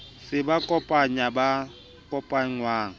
se ba kopanyang ba kopangwa